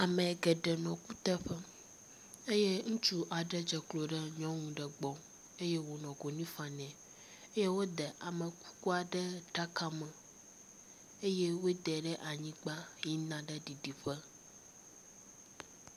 Ame geɖe nɔ kuteƒe eye ŋutsu aɖe dze klo ɖe nyɔnu ɖe gbɔ eye wonɔ konyi fam nɛ. Eye wode ame kukua ɖe aɖaka me eye wode ɖe anyigba yina ɖe ɖiɖiƒe.